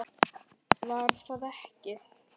Var það ekki????